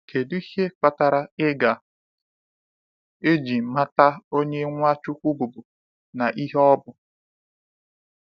Kedụ ihe kpatara iga eji mata Onye Nwachukwu bụbu na ihe ọ bụ.